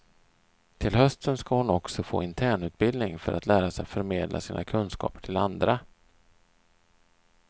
Till hösten ska hon också få internutbildning för att lära sig förmedla sina kunskaper till andra.